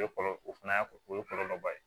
O ye kɔlɔlɔ o fana y'a o ye kɔlɔlɔba ye